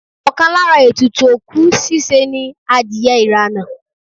Ọkàn lára ètùtù òkú ṣíṣe ni adìye ìrànà